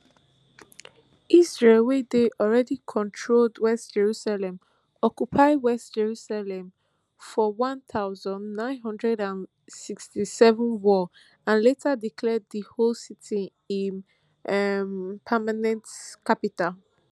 israel wey dey already controlled west jerusalem occupy east jerusalem forone thousand, nine hundred and sixty-seven war and later declare di whole city im um permanent capital